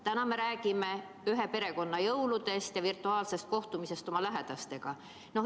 Nüüd me räägime ühe-perekonna-jõuludest ja virtuaalsest kohtumisest oma lähedastega.